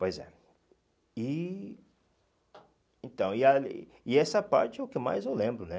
Pois é. E... Então, e ah e essa parte é o que mais eu lembro, né?